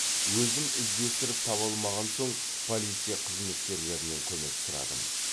өзім іздестіріп таба алмаған соң полиция қызметкелерінен көмек сұрадым